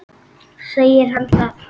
Segir hann það?